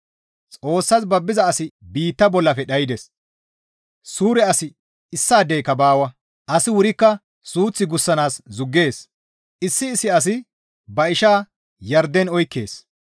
Xoossas babbiza asi biitta bollafe dhaydes; suure asi issaadeyka baawa; asi wurikka suuth gussanaas zuggees; issi issi asi ba isha yarden oykkees.